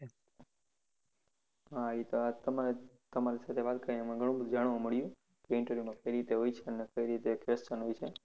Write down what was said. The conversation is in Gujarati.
હા એ તમારી સાથે વાત કરીને ગણું બધુ જાણવા મળ્યું કે interview માં કઈ રીતે હોય છે અને કઈ રીતે question હોય છે